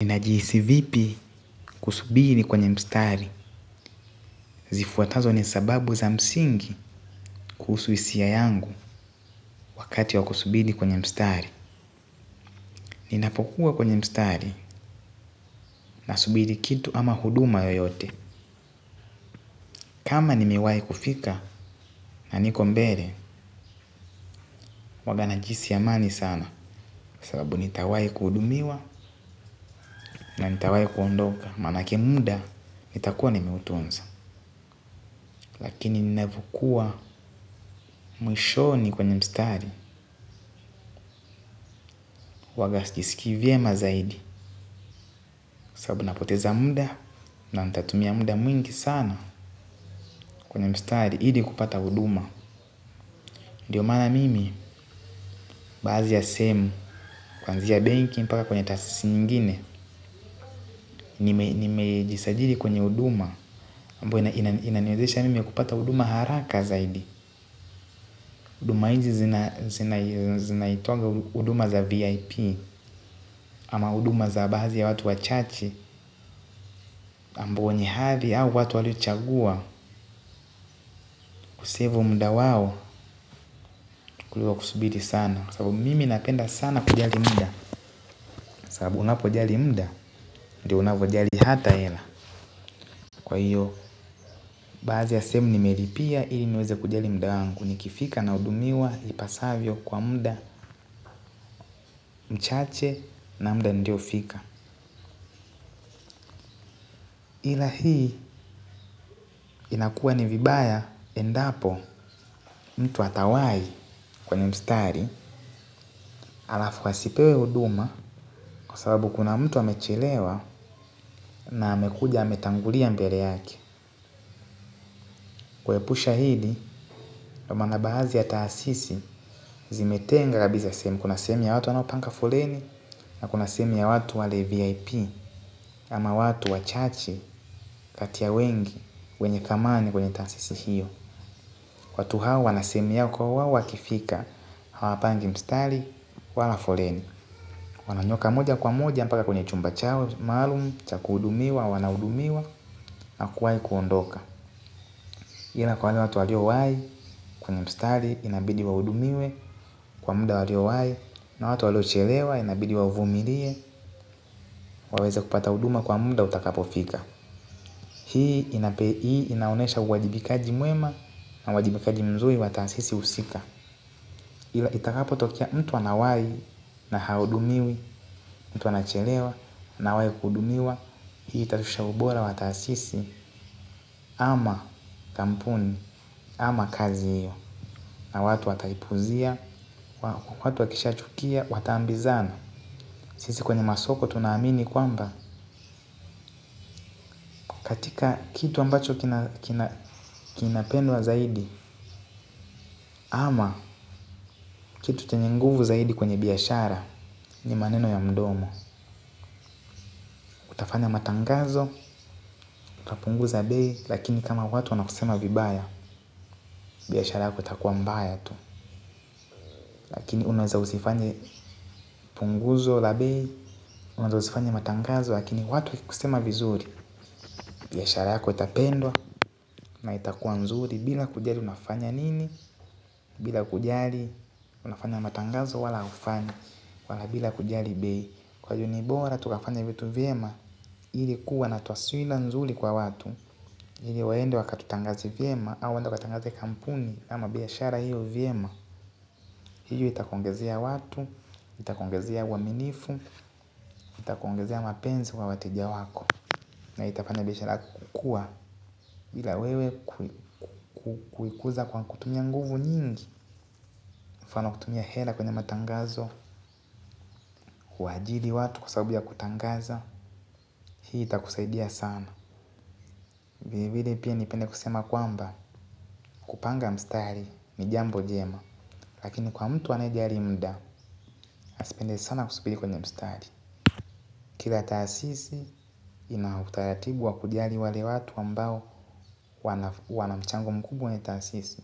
Ninajihisi vipi kusubiri kwenye mstari? Zifuatazo ni sababu za msingi kuhusu hisia yangu wakati wa kusubiri kwenye mstari. Ninapokuwa kwenye mstari nasubiri kitu ama huduma yoyote. Kama nimewahi kufika na niko mbele huwanga najihisi amani sana. Sababu nitawahi kuhudumiwa na nitawahi kuondoka maanake muda nitakuwa nimeutunza. Lakini ninavyokua mwishoni kwenye mstari huwaga sijiskii vyema zaidi sababu napoteza muda, na nitatumia muda mwingi sana kwenye mstari ili kupata huduma. Ndio maana mimi baadhi ya sehemu kwanzia benki mpaka kwenye taasisi nyingine. Nimejisajili kwenye huduma ambayo inaniwezesha mimi kupata huduma haraka zaidi. Huduma hizi zinaitangwa huduma za VIP. Ama huduma za baadhi ya watu wachache. Ambao ni hadhi au watu waliochagua kusevu muda wao kuliko kusubiri sana sababu mimi napenda sana kujali muda. Sababu unapojali muda ndio unavojali hata hela. Kwa hiyo baadhi ya sehemu nimelipia ili niweze kujali muda wangu. Nikifika nahudumiwa ipasavyo kwa muda mchache. Na muda niliofika ila hii inakua ni vibaya endapo mtu atawahi kwenye mstari alafu asipewe huduma kwa sababu kuna mtu amechelewa. Na amekuja ametangulia mbele yake. Kuepusha hili, ndio maana baadhi ya taasisi zimetenga kabisa sehemu. Kuna sehemu ya watu wanaopanga foleni na kuna sehemu ya watu wale VIP. Ama watu wachache kati ya wengi wenye thamani kwenye taasisi hiyo. Watu hawa wanasemea kuwa wao wakifika hawapangi mstari, wala foleni. Wananyoka moja kwa moja mpaka kwenye chumba chao maalum cha kuhudumiwa wanahudumiwa na kuwahi kuondoka. Ila kwa wale watu waliowahi kwenye mstari inabidi wahudumiwe kwa muda waliowahi na watu waliochelewa inabidi wavumilie waweze kupata huduma kwa muda utakapofika. Hii inaonyesha uwajibikaji mwema na uwajibikaji mzuri wa taasisi husika. Ila itakapotokea mtu anawahi na hahudumiwi mtu anachelewa na hawai kuhudumiwa hii itaonyesha ubora wa taasisi ama kampuni ama kazi hiyo. Na watu wataipuuzia, watu wakisha chukia, wataambizana. Sisi kwenye masoko tunaamini kwamba katika kitu ambacho kinapendwa zaidi ama kitu chenye nguvu zaidi kwenye biashara ni maneno ya mdomo. Utafanya matangazo, kapunguza bei, lakini kama watu wanakusema vibaya, biashara yako itakuwa mbaya tu. Lakini unaweza usifanye punguzo la bei, unaweza usifanye matangazo lakini watu wakikusema vizuri, biashara yako itapendwa na itakuwa nzuri bila kujali unafanya nini, bila kujali unafanya matangazo wala haufanyi. Wala bila kujali bei. Kwa hivyo ni bora tukafanye vitu vyema ili kuwa na taswira nzuri kwa watu. Ili waende wakatutangaze vyema au waenda wakatangaze kampuni ama biashara hiyo vyema. Hiyo itakuongezea watu, itakuongezea uaminifu, itakuongezea mapenzi kwa wateja wako. Na itafanya biashara yako kukua bila wewe kuikuza kwa kutumia nguvu nyingi. Mfano kutumia hela kwenye matangazo, kuwaajiri watu kwa sababu ya kutangaza. Hii itakusaidia sana. Vilevile pia ningependa kusema kwamba kupanga mstari ni jambo jema. Lakini kwa mtu anayejali muda asipende sana kusubiri kwenye mstari. Kila taasisi ina utaratibu wa kujali wale watu ambao wana mchango mkubwa kwenye taasisi.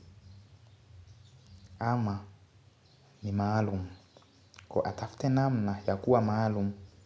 Ama ni maalum kwa hiyo atafute namna ya kuwa maalum.